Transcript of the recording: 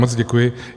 Moc děkuji.